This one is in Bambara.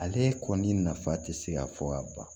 Ale kɔni nafa tɛ se ka fɔ ka ban